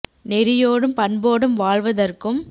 நெறியோடும் பண்போடும் வாழ்வ தற்கும்